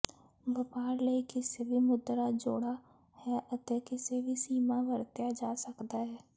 ਵਪਾਰ ਲਈ ਕਿਸੇ ਵੀ ਮੁਦਰਾ ਜੋੜਾ ਹੈ ਅਤੇ ਕਿਸੇ ਵੀ ਸੀਮਾ ਵਰਤਿਆ ਜਾ ਸਕਦਾ ਹੈ